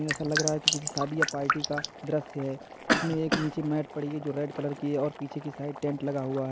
ऐसा लग रहा है कि किसी शादी या पार्टी का दृश्य है जिसमें एक नीचे मैट पड़ी है जो रेड कलर की और पीछे की साइड टेंट लगा हुआ है।